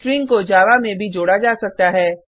string को Java में भी जोड़ा जा सकता है